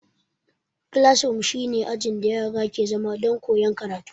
Kilasroom shi ne ajin da yara ke zama don koyan karatu